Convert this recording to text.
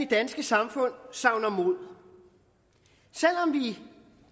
danske samfund savner mod selv om vi